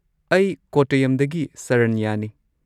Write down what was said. ꯑꯩ ꯀꯣꯠꯇꯌꯝꯗꯒꯤ ꯁꯔꯅ꯭ꯌꯅꯤ꯫